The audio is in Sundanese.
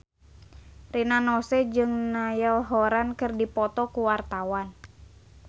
Rina Nose jeung Niall Horran keur dipoto ku wartawan